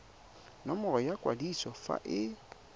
nomoro ya kwadiso fa e